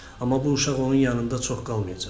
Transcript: Amma bu uşaq onun yanında çox qalmayacaq.